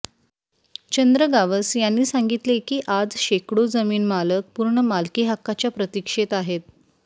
चंद्र गावस यांनी सांगितले की आज शेकडो जमीन मालक पूर्ण मालकी हक्काच्या प्रतीक्षेत आहेत